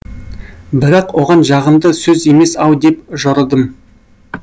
бірақ оған жағымды сөз емес ау деп жорыдым